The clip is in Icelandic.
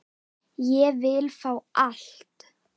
Ég vil fá allt.